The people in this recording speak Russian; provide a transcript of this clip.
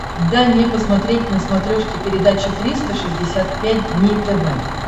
дай мне посмотреть на смотрешке передачу триста шестьдесят пять дней тв